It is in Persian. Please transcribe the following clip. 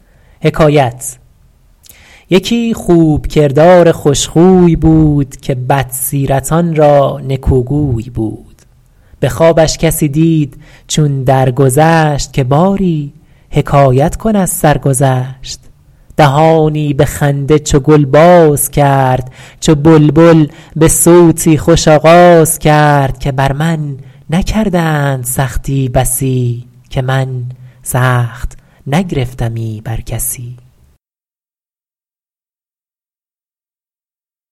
یکی خوب کردار خوش خوی بود که بد سیرتان را نکو گوی بود به خوابش کسی دید چون در گذشت که باری حکایت کن از سرگذشت دهانی به خنده چو گل باز کرد چو بلبل به صوتی خوش آغاز کرد که بر من نکردند سختی بسی که من سخت نگرفتمی بر کسی